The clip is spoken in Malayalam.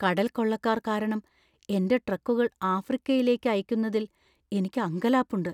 കടൽക്കൊള്ളക്കാർ കാരണം എന്‍റെ ട്രക്കുകൾ ആഫ്രിക്കയിലേക്ക് അയയ്ക്കുന്നതിൽ എനിക്ക് അങ്കലാപ്പുണ്ട്.